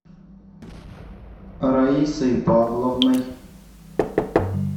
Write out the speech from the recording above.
раисой павловной